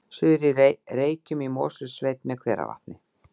Suður-Reykjum í Mosfellssveit með hveravatni